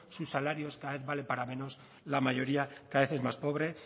su salarios es cada vez valen para menos la mayoría cada vez es más pobre